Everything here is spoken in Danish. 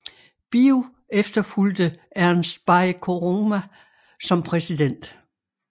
Bio efterfulgte Ernest Bai Koroma som præsident